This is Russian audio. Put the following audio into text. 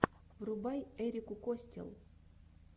врубай эрику костелл